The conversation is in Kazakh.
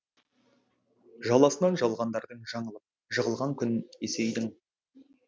жаласынан жалғандардың жаңылып жығылған күн есейдің